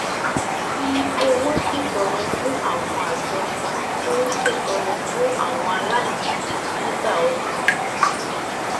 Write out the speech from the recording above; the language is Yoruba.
fi owó ṣètọrẹ fún àwọn àjọ tó ń ṣètọrẹ fún àwọn aláìní nígbà ọdún